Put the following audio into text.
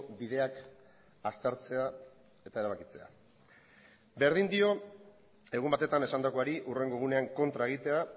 bideak aztertzea eta erabakitzea berdin dio egun batetan esandakoari hurrengo egunean kontra egitea